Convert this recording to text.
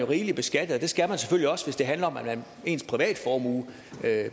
rigeligt beskattet og det skal man selvfølgelig også hvis det handler om at ens privatformue